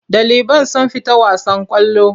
Ɗaliban sun fita wasan ƙwallo.